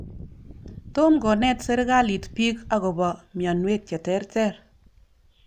Tom konet sirikalit piik akopo mianwek che terter.